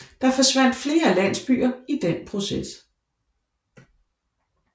Der forsvandt flere landsbyer i den proces